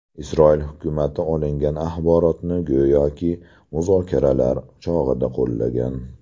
Isroil hukumati olingan axborotni go‘yoki, muzokaralar chog‘ida qo‘llagan.